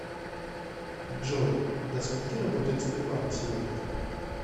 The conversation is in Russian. джой до скольки работает сбербанк сегодня